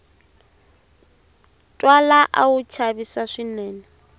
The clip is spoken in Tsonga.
twala a wu chavisa swinene